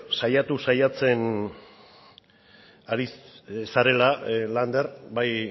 saiatu saiatzen ari zarela lander bai